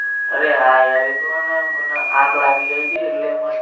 અરે હા યાર એ તો મને આંખ લાગી ગઈ તી એટલે